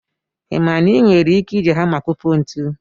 Ị ma na ị nwere ike iji hama kopụ ntu?